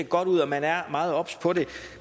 godt ud og man er meget obs på det